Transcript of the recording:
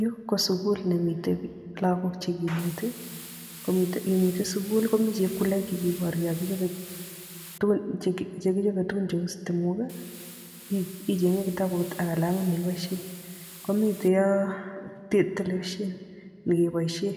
Yu ko sukul nemitei lagok che kineti, imite sukul komi chepkuloik chekiboru yo kichobe tugun cheu stimok, icheng'e kitabut ak kalamit ne iboisie. Komitei yo telepishen nekeboisie